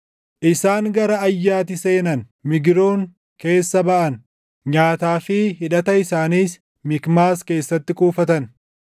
Isaan gara Ayyati seenan; Migroon keessa baʼan; nyaataa fi hidhata isaaniis Mikmaas keessatti kuuftan.